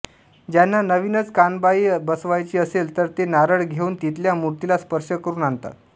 ज्यांना नविनच कानबाई बसवायची असेल तर ते नारळ घेउन तिथल्या मूर्तीला स्पर्श करुन आणतात